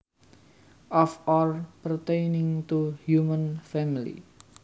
Of or pertaining to human family